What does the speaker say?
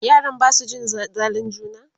yaran Basu cin zalin juna?